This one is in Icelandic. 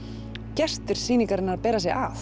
gestir sýningarinnar að bera sig að